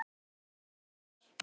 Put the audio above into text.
Síðan þurfum við að fá flugvélar.